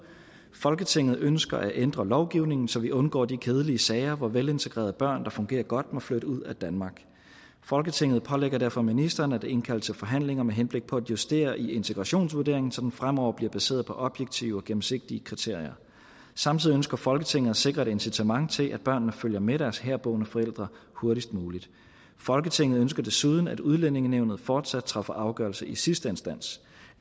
folketinget ønsker at ændre lovgivningen så vi undgår de kedelige sager hvor velintegrerede børn der fungerer godt må flytte ud af danmark folketinget pålægger derfor ministeren at indkalde til forhandlinger med henblik på at justere i integrationsvurderingen så den fremover bliver baseret på objektive og gennemsigtige kriterier samtidig ønsker folketinget at sikre et incitament til at børnene følger med deres herboende forældre hurtigst muligt folketinget ønsker desuden at udlændingenævnet fortsat træffer afgørelse i sidste instans